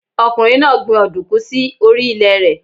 Ọkùnrin náà gbin Òdùkú sí orí ilè rẹ̀